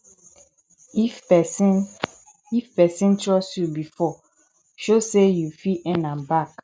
if pesin if pesin trust yu bifor show say yu fit earn am back